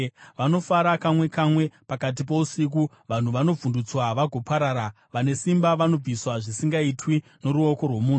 Vanofa kamwe kamwe, pakati pousiku; vanhu vanovhundutswa vagoparara; vane simba vanobviswa zvisingaitwi noruoko rwomunhu.